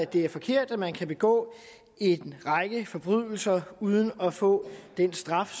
det er forkert at man kan begå en række forbrydelser uden at få den straf